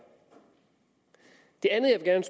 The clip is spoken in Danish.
det andet jeg